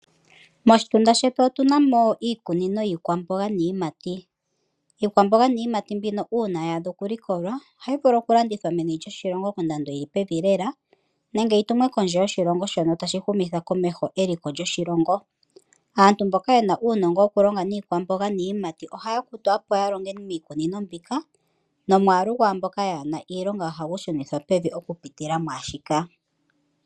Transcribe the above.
Moshitunda shetu otuna mo iikunino yiikwamboga niiyimati. Iikwamboga niiyimati mbino uuna yaadha okulikolwa, ohayi vulu okulandithwa meni lyoshilongo kondando yili pevi lela, nenge yitumwe kondje yoshilongo, shono tashi humitha komeho eliko lyoshilongo. Aantu mboka yena uunongo wokulonga niikwamboga niiyimati, ohaya kutwa opo yalonge miikunino mbika, nomwaalu gwaamboka yaana iilongo ohagu shunithwa pevi, okupitila mwaashika.